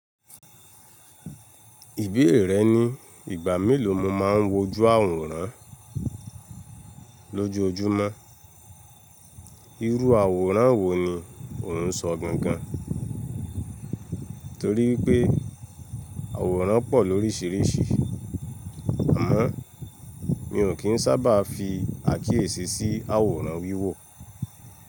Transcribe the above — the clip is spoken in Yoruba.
Ìbéèrè rẹ ni, ìgbà mélòó ni mo máa ń wojú àwòrán lójoojúmọ́? Irú àwòrán wo ni ò ń sọ gangan? Torí wipé àwòrán pọ̀ lóríṣiríṣi. Àmọ́ mi ò kí ń sábà fi àkíyèsí sí àwòrán wíwò.